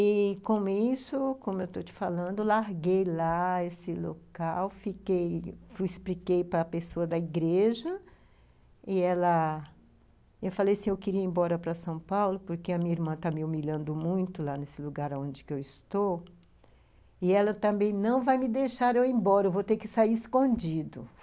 E, com isso, como eu estou te falando, larguei lá esse local, fiquei, expliquei para a pessoa da igreja, e eu falei assim, eu queria ir embora para São Paulo, porque a minha irmã está me humilhando muito lá nesse lugar onde eu estou, e ela também não vai me deixar eu ir embora, eu vou ter que sair escondido.